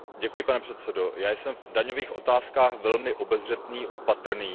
Pane předsedající, já jsem v daňových otázkách velmi obezřetný a opatrný.